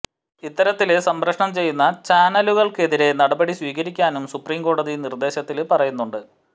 ഇത്തരത്തില് സംപ്രേക്ഷണം ചെയ്യുന്ന ചാനലുകള്ക്കെതിരെ നടപടി സ്വീകരിക്കാനും സുപ്രീംകോടതി നിര്ദ്ദേശത്തില് പറയുന്നുണ്ട്